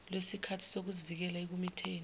lwesikhali sokuzivikela ekumitheni